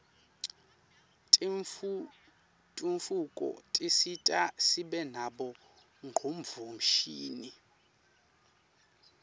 tentfutfuko tisisita sibe nabo ngcondvomshini